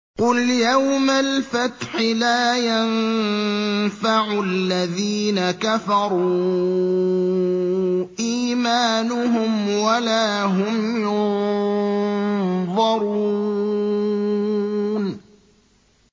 قُلْ يَوْمَ الْفَتْحِ لَا يَنفَعُ الَّذِينَ كَفَرُوا إِيمَانُهُمْ وَلَا هُمْ يُنظَرُونَ